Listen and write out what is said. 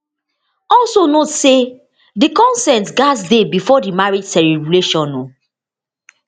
also note say di consent gatz dey bifor di marriage celebration